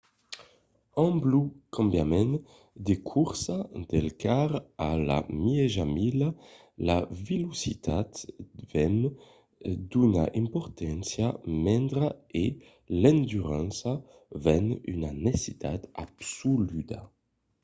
amb lo cambiament de corsa del quart a la mièja mila la velocitat ven d’una importància mendra e l’endurança ven una necessitat absoluda